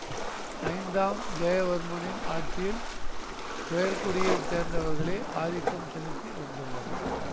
ஐந்தாம் ஜெயவர்மனின் ஆட்சியில் உயர்குடியைச் சேர்ந்தவர்களே ஆதிக்கம் செலுத்தி வந்துள்ளனர்